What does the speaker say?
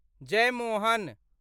Jeyamohan